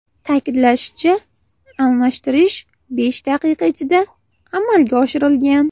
Ta’kidlanishicha, almashtirish besh daqiqa ichida amalga oshirilgan.